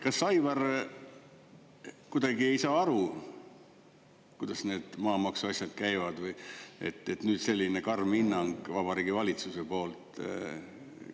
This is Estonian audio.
Kas Aivar kuidagi ei saa aru, kuidas need maamaksuasjad käivad või, et nüüd selline karm hinnang Vabariigi Valitsuse poolt?